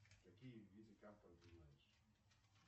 какие виды карта ты знаешь